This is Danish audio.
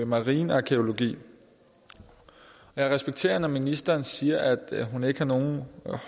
marinarkæologi jeg respekterer når ministeren siger at hun ikke har nogen